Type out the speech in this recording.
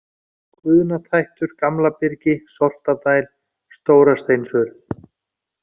Guðnatættur, Gamlabyrgi, Sortadæl, Stórasteinsurð